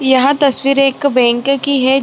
यह तस्वीर एक बैंक की है।